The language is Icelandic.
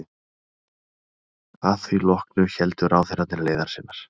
Að því loknu héldu ráðherrarnir leiðar sinnar.